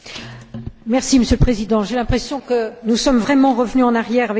Monsieur le Président, j'ai l'impression que nous sommes vraiment revenus en arrière avec ce sommet.